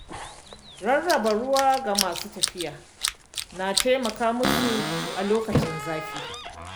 Rarraba ruwa ga masu tafiya na taimaka musu a lokacin zafi.